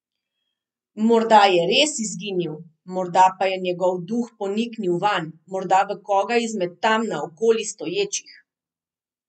Morda je res izginil, morda pa je njegov duh poniknil vanj, morda v koga izmed tam naokoli stoječih?